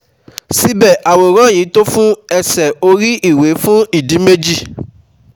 Síbẹ̀, àwòrán yìí ò tó fún ẹṣẹ́ orí-iwe fún ìdí méjì